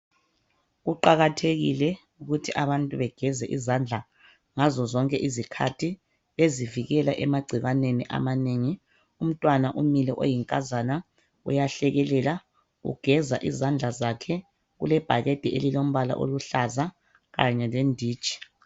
Kuqakathekile ukuthi abantu begeze izandla ngazozonke izikhathi, bezivikela emagcikwaneni amanengi. Untwana umile oyikazana uyahlekelela, ugeza izadla zakhe, kulebhakede ililembala oluhlaza, kanye lenditshi.